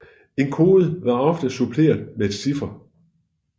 En kode var ofte suppleret med en chiffer